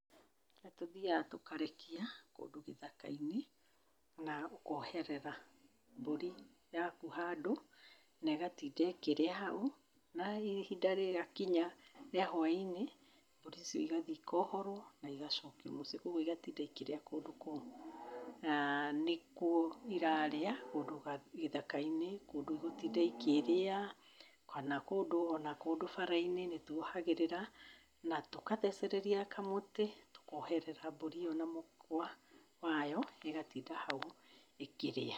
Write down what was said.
Nĩ tũthiaga tũkarekia kũndũ gĩthaka-inĩ na ũkooherera mbũri yaku handũ na ĩgatinda ĩkĩrĩa hau. Na hihi ihinda rĩakinya rĩa hwaĩ-inĩ, mbũri icio igathii ikoohorwo na igacokio mũciĩ, kwoguo igatinda ikĩrĩa kũndũ kũmwe. Na nĩkuo irarĩa kũndũ gĩthaka-inĩ, kũndũ igũtinda ikĩrĩa kana kũndũ o na kũndũ bara-inĩ, nĩ twohagĩrĩra na tũkathecereria kamũti tũkooherera mbũri ĩyo na mũkwa wayo ĩgatinda hau ĩkĩrĩa.